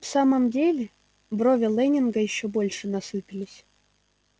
в самом деле брови лэннинга ещё больше насупились